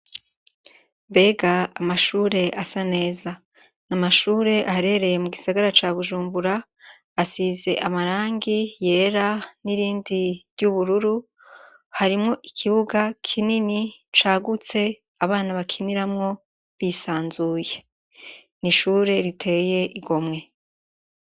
Mbega amashure asa neza ni amashure aharereye mu gisagara ca bujumbura asize amarangi yera n'irindi ry'ubururu harimwo ikibuga kinini cagutse abana bakiniramwo bisanzuye ni ishure riteye igomwe.